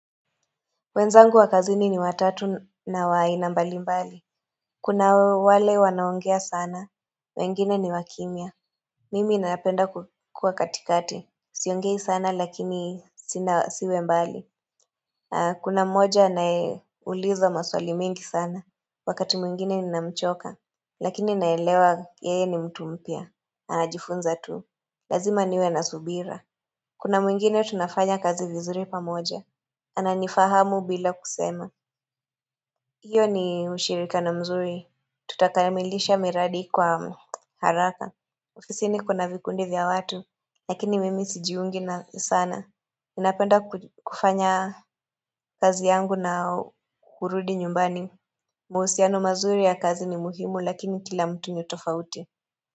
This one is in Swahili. Wenzangu wakazini ni watatu na wa aina mbali mbali. Kuna wale wanaongea sana. Wengine ni wakimia. Mimi inapenda kukua katikati. Siongei sana lakini sina siwe mbali. Kuna mmoja anaye uliza maswali mengi sana. Wakati mwingine ninamchoka. Lakini naelewa yeye ni mtu mpya. Anajifunza tu. Lazima niwe na subira. Kuna mwingine tunafanya kazi vizuri pamoja. Ananifahamu bila kusema. Iyo ni ushirikiano mzuri, tutakamilisha miradi kwa haraka. Ofisini kuna vikundi vya watu, lakini mimi sijiungi nao sana. Napenda kufanya kazi yangu na kurudi nyumbani. Mahusiano mazuri ya kazi ni muhimu lakini kila mtu ni tofauti.